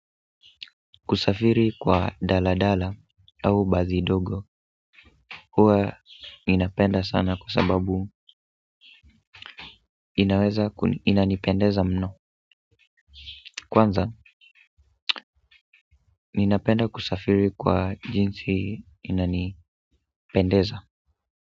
Kusafiri kwa daladala au basi dogo huwa ninapenda sana kwa sababu inanipendeza mno, kwanza ninapenda kusafiri kwa jinsi inanipendeza.